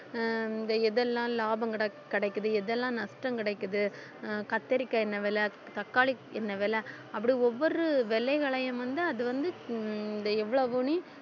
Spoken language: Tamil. அஹ் இந்த எது எல்லாம் லாபம் கிடைக்~ கிடைக்குது எதெல்லாம் நஷ்டம் கிடைக்குது அஹ் கத்தரிக்காய் எண்ணெய் விலை தக்காளி எண்ணெய் விலை அப்படி ஒவ்வொரு விலையையும் வந்து அது வந்து ஹம் இந்த எவ்வளவுன்னு